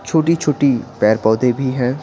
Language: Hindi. छोटी-छोटी पैर-पौधे भी हैं।